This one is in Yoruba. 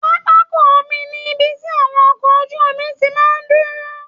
Pápákọ omi ni ibi tí àwọn ọkọ ojú omi ti máa ń dúró